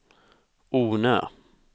Ornö